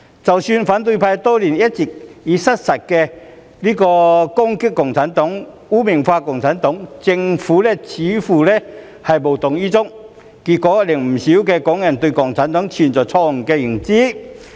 即使反對派多年來一直以失實言論攻擊共產黨及將其污名化，但政府似乎無動於衷，結果令不少港人對共產黨存在錯誤的認知。